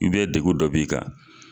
I bɛ degun dɔ b'i kan.